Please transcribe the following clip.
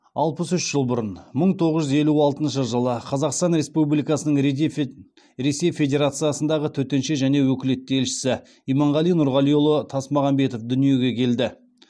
алпыс үш жыл бұрын қазақстан республикасының ресей федерациясындағы төтенше және өкілетті елшісі иманғали нұрғалиұлы тасмағамбетов дүниеге келді